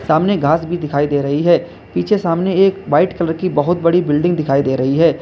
सामने घास भी दिखाई दे रही है पीछे सामने एक वाइट कलर की बहुत बड़ी बिल्डिंग दिखाई दे रही है।